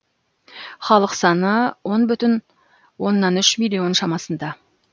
халық саны он бүтін оннан үш миллион шамасында